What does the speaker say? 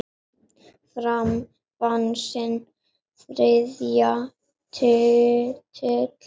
Fram vann sinn þriðja titil.